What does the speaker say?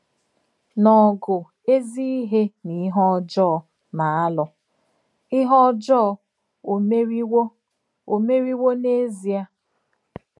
N’ògù èzì ìhè nà ìhè ọ̀jọọ nà-àlụ̀, ìhè ọ̀jọọ ò mèrìwò ò mèrìwò n’èzìè?